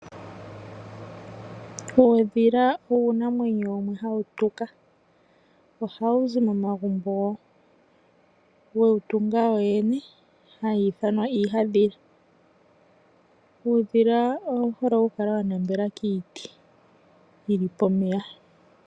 Uudhila uunamwenyo wumwe hawu tuka ohawu zi momagumbo wega tunga wowene hawu ithanwa iihandhila. Uudhila owu hole okukala wa nambela kiiti yili pomeya.